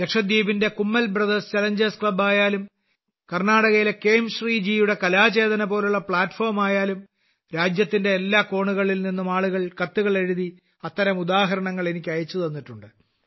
ലക്ഷദീപിന്റെ Kummel Brothers Challengers ക്ലബ്ബായാലും കർണാടകയിലെ ക്വേംശ്രീ ജിയുടെ കലാചേതനപോലുള്ള പ്ലാറ്റ്ഫോമായാലും രാജ്യത്തിന്റെ എല്ലാ കോണുകളിൽ നിന്നും ആളുകൾ കത്തുകളെഴുതി അത്തരം ഉദാഹരണങ്ങൾ എനിക്ക് അയച്ചുതന്നിട്ടുണ്ട്